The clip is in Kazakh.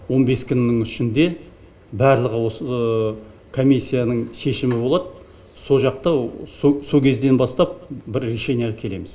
он бес күннің ішінде барлығы осы комиссияның шешімі болады со жақта со кезден бастап бір решенияға келеміз